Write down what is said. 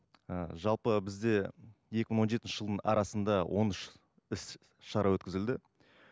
ы жалпы бізде екі мың он жетінші жылдың арасында он үш іс шара өткізілді